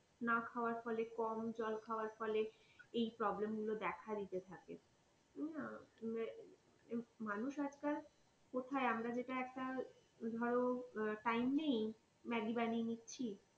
না খাওয়া ফলে, কম জল খাওয়ার ফলে এই problem গুলো দেখা দিতে থাকে মানুষ আজ কাল কোথায় আমরা যে একটা ধরো time নেই ম্যাগি বানিয়ে নিচ্ছি,